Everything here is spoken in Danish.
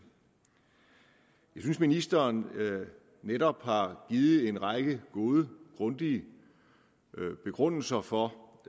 jeg synes at ministeren netop har givet en række gode grundige begrundelser for